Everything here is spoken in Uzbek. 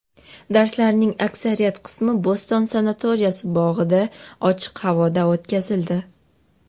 Darslarning aksariyat qismi Bo‘ston sanatoriyasi bog‘ida, ochiq havoda o‘tkazildi.